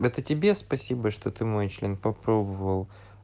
это тебе спасибо что ты мой член попробовал